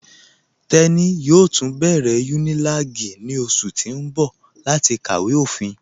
Teni yóò tun bẹ̀rẹ̀ Unilag ní ọṣù tì n bọ̀ láti kàwé ofín.